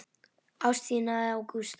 Ást þína á Gústa.